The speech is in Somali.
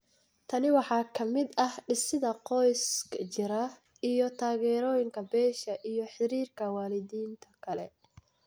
Tan waxaa ka mid ah dhisidda qoys jira iyo taageerooyinka beesha iyo xiriirka waalidiinta kale.